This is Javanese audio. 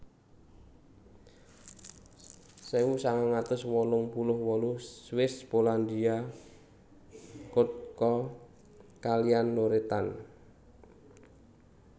Sewu sangang atus wolung puluh wolu Swiss Polandia Kurtyka kaliyan Loretan